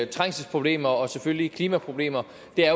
trængselsproblemer og selvfølgelig klimaproblemer